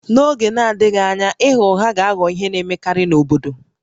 N'oge na-adịghị anya ịgha ụgha ga-aghọ ihe na-emekarị n'obodo